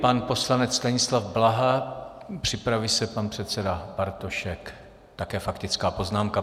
Pan poslanec Stanislav Blaha, připraví se pan předseda Bartošek, také faktická poznámka.